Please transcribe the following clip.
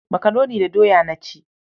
Makaroni da doya na ci.